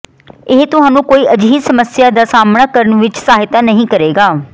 ਇਹ ਤੁਹਾਨੂੰ ਕੋਈ ਅਜਿਹੀ ਸਮੱਸਿਆ ਦਾ ਸਾਹਮਣਾ ਕਰਨ ਵਿੱਚ ਸਹਾਇਤਾ ਨਹੀਂ ਕਰੇਗਾ